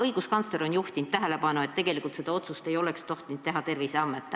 Õiguskantsler on juhtinud tähelepanu ka sellele, et tegelikult ei oleks tohtinud seda otsust teha Terviseamet.